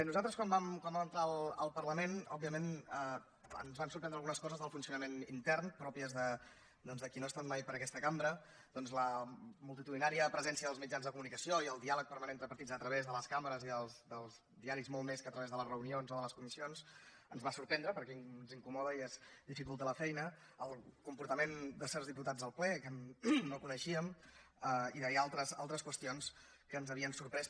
nosaltres quan vam entrar al parlament òbviament ens van sorprendre algunes coses del funcionament intern pròpies de qui no ha estat mai per aquesta cambra doncs la multitudinària presència dels mitjans de comunicació i el diàleg permanent entre partits a través de les càmeres i dels diaris molt més que a través de les reunions o de les comissions ens va sorprendre perquè ens incomoda i ens dificulta la feina el comportament de certs diputats en el ple que no ho coneixíem i d’altres qüestions que ens havien sorprès